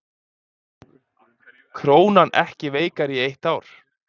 Krónan ekki veikari í eitt ár